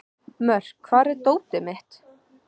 Mörk, hvar er dótið mitt?